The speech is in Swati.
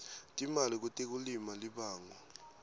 timali kutekulima libangwa